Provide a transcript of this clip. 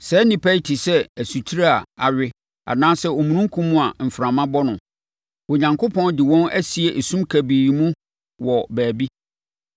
Saa nnipa yi te sɛ asutire a awe anaasɛ omununkum a mframa bɔ no. Onyankopɔn de wɔn asie esum kabii mu wɔ baabi.